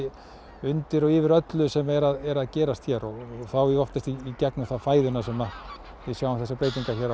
undir og yfir öllu sem er að gerast hér og þá oftast í gegnum fæðuna sem við sjáum breytingar hér á